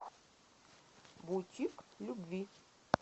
бутик любви